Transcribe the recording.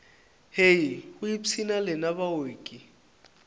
hei go ipshina lena baoki